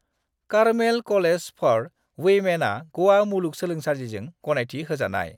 Carmel college for विमेनआ गवा मुलुसोलोंसालिजों गनायथि होजानाय।